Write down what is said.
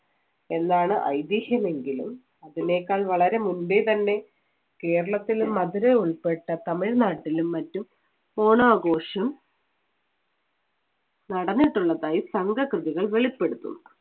എന്നാണ് ഐതിഹ്യം എങ്കിലും അതിനേക്കാൾ വളരെ മുമ്പേ തന്നെ കേരളത്തില്‍ മധുര ഉൾപ്പെട്ട തമിഴ്നാട്ടിലും മറ്റും ഓണാഘോഷം നടന്നിട്ടുള്ളതായി സംഘകൃതികൾ വെളിപ്പെടുത്തുന്നു.